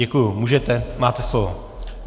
Děkuji, můžete, máte slovo.